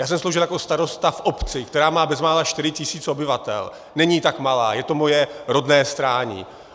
Já jsem sloužil jako starosta v obci, která má bezmála 4 000 obyvatel, není tak malá, je to moje rodné Strání.